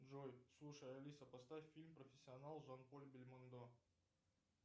джой слушай алиса поставь фильм профессионал с жан поль бельмондо